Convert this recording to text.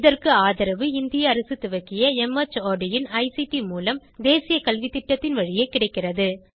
இதற்கு ஆதரவு இந்திய அரசு துவக்கிய மார்ட் இன் ஐசிடி மூலம் தேசிய கல்வித்திட்டத்தின் வழியே கிடைக்கிறது